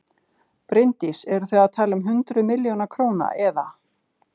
Bryndís: Eru þið að tala um hundruð milljóna eða?